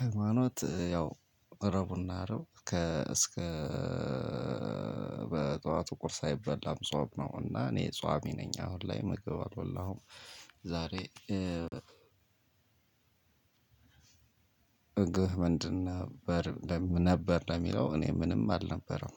ሃይማኖት ያው እስከ በጠዋቱ ቁርስ አይበላም ጾም ነው። እና እኔ ፀዋሚ ነኝ አሁን ላይ ምግብ አልበላሁም። ዛሬ ምግብህ ምንድን ነበር? ለሚለው እኔ ምንም አልነበረም።